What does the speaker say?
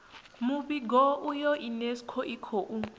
muvhigo uyu unesco i khou